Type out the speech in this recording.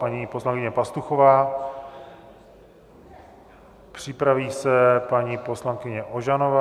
Paní poslankyně Pastuchová, připraví se paní poslankyně Ožanová.